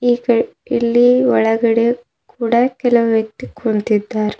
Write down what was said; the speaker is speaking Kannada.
ಇಲ್ಲಿ ಒಳಗಡೆ ಕೂಡ ಕೆಲ ವ್ಯಕ್ತಿ ಕುಂತಿದ್ದಾರೆ.